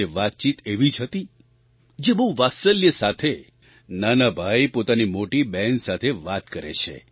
તે વાતચીત એવી જ હતી જે બહુ વાત્સલ્ય સાથે નાના ભાઈ પોતાની મોટી બહેન સાથે વાત કરે છે